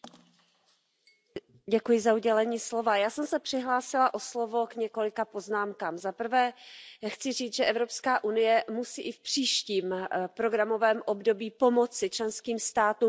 Pane předsedající, já jsem se přihlásila o slovo k několika poznámkám. Zaprvé chci říct, že Evropská unie musí i v příštím programovém období pomoci členským státům v obnově lesů.